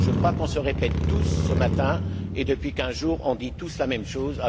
Je crois qu'on se répète tous ce matin et, depuis quinze jours, on dit tous la même chose.